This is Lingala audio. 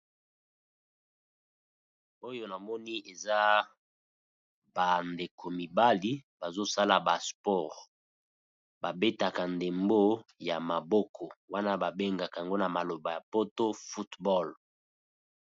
Oyo na moni eza ba ndeko mibali bazo sala ba sport, ba betaka ndembo ya maboko wana ba bengaka yango na maloba ya poto football.